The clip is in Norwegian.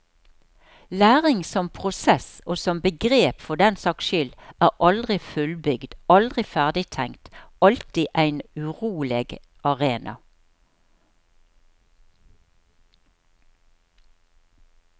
Læring som prosess, og som begrep for den saks skyld, er aldri fullbygd, aldri ferdigtenkt, alltid ein uroleg arena.